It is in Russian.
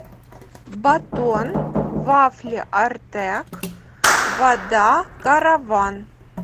батон вафли артек вода караван